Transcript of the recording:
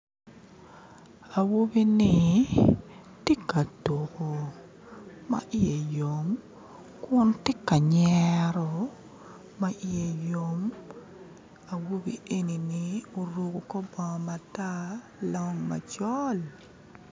Awobi-ni tye ka tuko ma iye yom kun tye ka nyero ma iye yom awobi eni-ni oruko kor bongo matar long macol